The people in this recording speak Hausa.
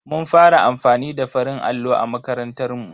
Mun fara amfani da farin allo a makarantar mu.